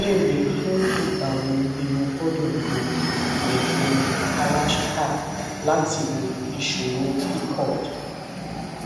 ìbéèrè fún ìgbà wo ni mo gbọdọ lo ìyẹfun kalachikai láti wo ìṣòro pcod